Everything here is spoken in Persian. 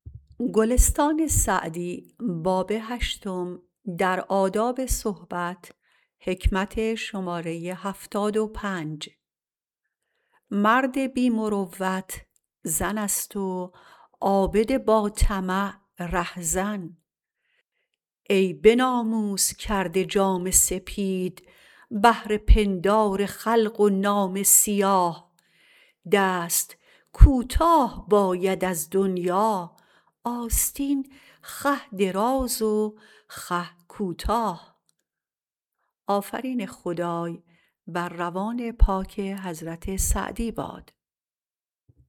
مرد بی مروت زن است و عابد با طمع رهزن ای به ناموس کرده جامه سپید بهر پندار خلق و نامه سیاه دست کوتاه باید از دنیا آستین خوه دراز و خوه کوتاه